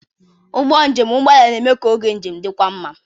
Ụgbọ njem ụgbọ ala na-eme ka oge njem dịkwuo mma.